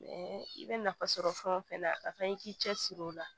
i bɛ nafa sɔrɔ fɛn o fɛn na a kan i k'i cɛ siri o la